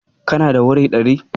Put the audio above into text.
Kana da wuri ɗari?